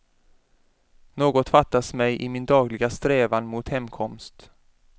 Något fattas mig i min dagliga strävan mot hemkomst.